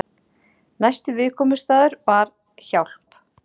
Næsti viðkomustaður var Hjálp.